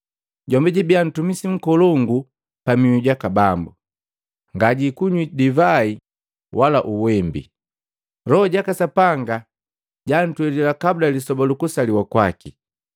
Jombi jwibiya ntumisi nkolongu pamihu jaka Bambu. Ngajikunyi divai wala uwembi. Loho jaka Sapanga antwelila kabula lisoba lukusaliwa kwaki.